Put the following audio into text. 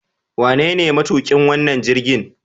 Wanene matuƙin wannan jirgin?